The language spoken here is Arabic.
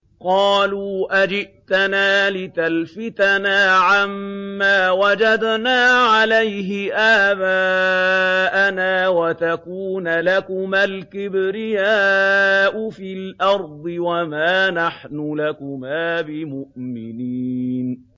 قَالُوا أَجِئْتَنَا لِتَلْفِتَنَا عَمَّا وَجَدْنَا عَلَيْهِ آبَاءَنَا وَتَكُونَ لَكُمَا الْكِبْرِيَاءُ فِي الْأَرْضِ وَمَا نَحْنُ لَكُمَا بِمُؤْمِنِينَ